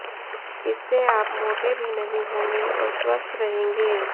इससे आप मोटे भी नहीं होंगे और स्वस्थ रहेंगे